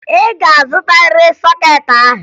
Ị ga-azụtarịrị sọkeetị ahụ!